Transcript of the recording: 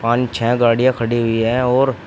पांच छह गाड़ियां खड़ी हुई हैं और--